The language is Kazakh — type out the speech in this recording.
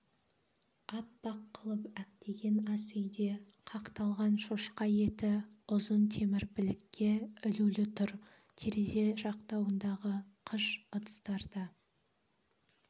аппақ қылып әктеген асүйде қақталған шошқа еті ұзын темір білікке ілулі тұр терезе жақтауындағы қыш ыдыстарда